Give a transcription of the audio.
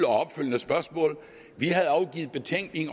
opfølgende spørgsmål og vi havde afgivet betænkning